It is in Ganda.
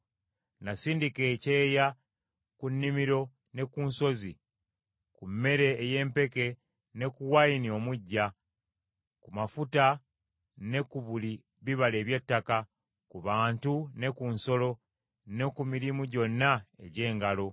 Nasindika ekyeya ku nnimiro ne ku nsozi, ku mmere ey’empeke ne ku wayini omuggya, ku mafuta ne ku buli bibala eby’ettaka, ku bantu ne ku nsolo, ne ku mirimu gyonna egy’engalo.”